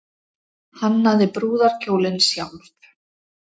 Hannaði brúðarkjólinn sjálf